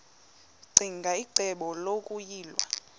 ccinge icebo lokuyilwa